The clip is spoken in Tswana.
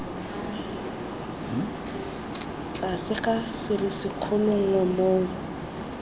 tlase ga serisikgolo nngwe moo